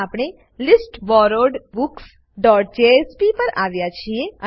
હવે આપણે listborrowedbooksજેએસપી પર આવ્યા છીએ